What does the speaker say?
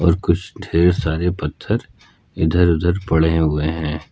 और कुछ ढेर सारे पत्थर इधर उधर पड़े हुए हैं।